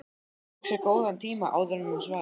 Hún tók sér góðan tíma áður en hún svaraði.